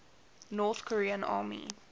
north korean army